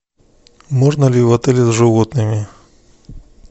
можно ли в отеле с животными